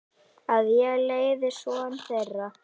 Að ég leiði son þeirra.